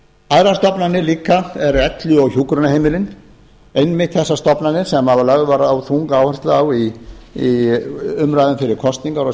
aðrar stofnanir líka eru elli og hjúkrunarheimilin einmitt þessar stofnanir sem lögð var þung áhersla á í umræðum fyrir kosningar á